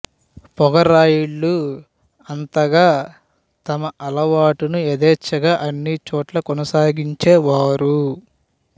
పొగరాయుళ్ళు అంతగా తమ అలవాటును యధేచ్ఛగా అన్ని చోట్లా కొనసాగించేవారు